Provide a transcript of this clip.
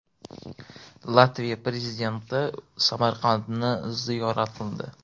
Latviya Prezidenti Samarqandni ziyorat qildi.